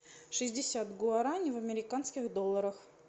шестьдесят гуарани в американских долларах